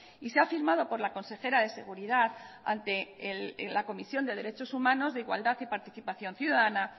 y se ha firmado por la consejera de seguridad ante la comisión de derechos humanos de igualdad y participación ciudadana